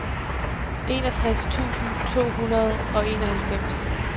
enogtres tusind to hundrede og enoghalvfems